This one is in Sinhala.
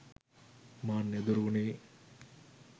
මාන්නය දුරුවුණේ